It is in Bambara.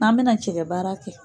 N'an bɛna cɛkɛ baara kɛ.